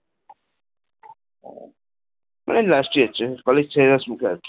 মানে last year college শেষের মুখে আর কি